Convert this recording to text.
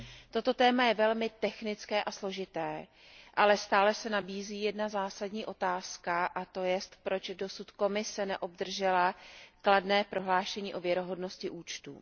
Toto téma je velmi technické a složité, ale stále se nabízí jedna zásadní otázka, a to proč Komise neobdržela kladné prohlášení o věrohodnosti účtů?